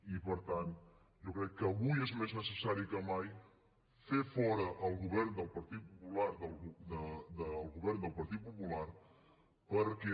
i per tant jo crec que avui és més necessari que mai fer fora el govern del partit popular perquè